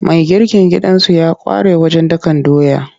Mai girkin gidansu ya ƙware wajen dakan doya.